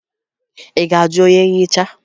Ị ga-ajụ onye nhicha?